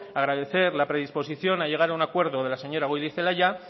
agradecer la predisposición a llegar a un acuerdo de la señora goirizelaia